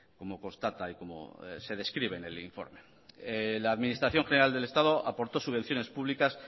como constata y como se describe en el informe la administración general del estado aportó subvenciones públicas